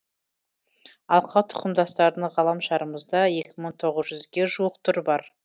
алқа тұқымдастардың ғаламшарымызда екі мың тоғыз жүзге жуық түрі бар